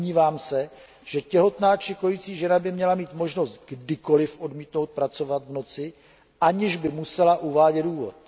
Domnívám se, že těhotná či kojící žena by měla mít možnost kdykoli odmítnout pracovat v noci, aniž by musela uvádět důvod.